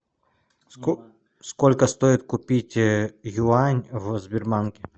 сколько стоит купить юань в сбербанке